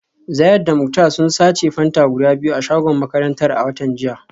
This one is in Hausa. Zayad da Muktar sun sace Fanta guda biyu a shagon makarantar a watan jiya